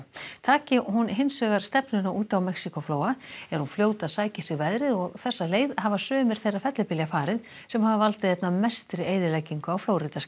taki hún hins vegar stefnuna út á Mexíkóflóa er hún fljót að sækja í sig veðrið og þessa leið hafa sumir þeirra fellibylja farið sem hafa valdið einna mestri eyðileggingu á